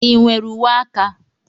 Ị nwere uwe aka?